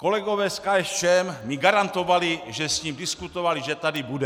Kolegové z KSČM mi garantovali, že s ním diskutovali, že tady bude.